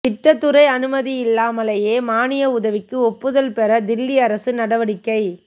திட்டத் துறை அனுமதியில்லாமலேயே மானிய உதவிக்கு ஒப்புதல் பெற தில்லி அரசு நடவடிக்கை